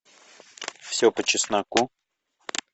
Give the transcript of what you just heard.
все по чесноку